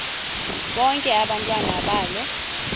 bonke abantwana balo